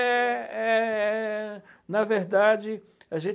é, é, é. Na verdade, a gente